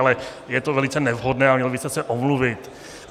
Ale je to velice nevhodné a měl byste se omluvit.